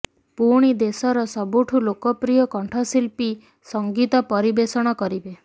ପୁଣି ଦେଶର ସବୁଠୁ ଲୋକପ୍ରୟ କଣ୍ଠଶିଳ୍ପୀ ସଂଗୀତ ପରିବେଷଣ କରିବେ